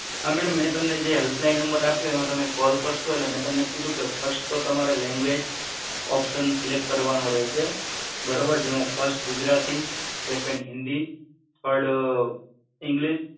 હા મેડમ મેં તમને જે હેલ્પ લાઈન આપ્યો એમાં તમે કોલ કરસો એટલે મેં તમને કીધું ફસ્ટ તો તમારે લેન્ગુએજ઼ ઓપ્શન સિલેક્ટ કરવાનો રહેશે બરોબર જેમાં ફસ્ટ ગુજરાતી સેકન્ડ હિન્દી થડ ઇંલીશ